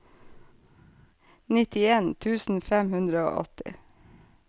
nittien tusen fem hundre og åtti